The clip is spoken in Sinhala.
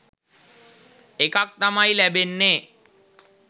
එකක් තමයි ලැබෙන්නේ.